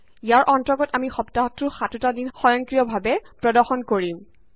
ইয়াৰ অন্তৰ্গত আমি সপ্তাহটোৰ সাতোটা দিন সয়ংক্ৰিয় ভাৱে প্ৰদৰ্শন কৰিম